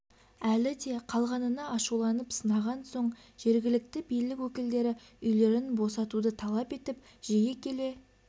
әлі де қалғанына ашуланып сынаған соң жергілікті билік өкілдері үйлерін босатуды талап етіп жиі келе